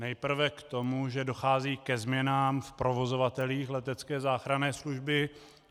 Nejprve k tomu, že dochází ke změnám v provozovatelích letecké záchranné služby.